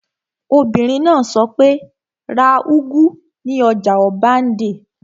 Obìnrin náà sọ pé, 'ra úgú ní ọjà ọbándẹ́!